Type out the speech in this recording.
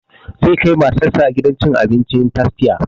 Zai kai matar sa gidan cin abincin tastia